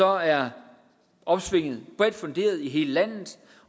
er opsvinget bredt funderet i hele landet